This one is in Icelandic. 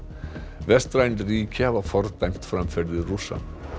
vestræn ríki hafa fordæmt framferði Rússa